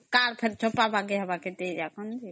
Cardଫେର ଛପାଵ